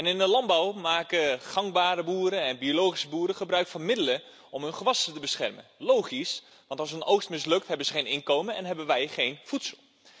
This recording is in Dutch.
In de landbouw maken gangbare boeren en biologische boeren gebruik van middelen om hun gewassen te beschermen. Dat is logisch want als een oogst mislukt, hebben ze geen inkomen en hebben wij geen voedsel.